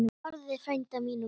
Þórði frænda mínum!